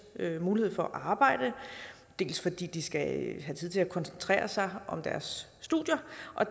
mulighed for at arbejde dels fordi de skal have tid til at koncentrere sig om deres studier